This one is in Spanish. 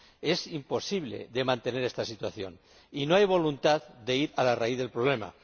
Es imposible mantener esta situación y no hay voluntad para ir a la raíz del problema.